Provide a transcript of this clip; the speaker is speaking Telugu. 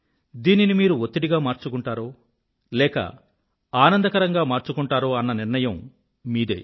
దీనిని మీరు ఒత్తిడిగా మార్చుకుంటారో లేక ఆనందకరంగా మార్చుకుంటారో అన్న నిర్ణయం మీదే